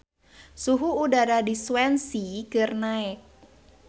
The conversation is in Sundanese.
Suhu udara di Swansea keur naek